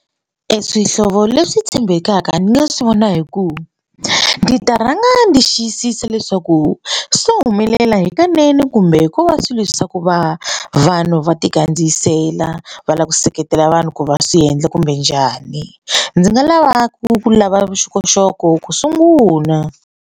Eswihlovo leswi tshembekaka ni nga swi vona hi ku ndzi ta rhanga ndzi xiyisisa leswaku swo humelela hikanene kumbe hikuva swilo leswi swa ku va vanhu va ti kandziyisetela va lava ku seketela vanhu ku va swi endla kumbe njhani ndzi nga lava ku lava vuxokoxoko ku sungula.